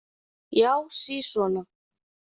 Já, sisona!